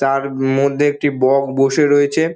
তার মধ্যে একটি বক বসে রয়েছে।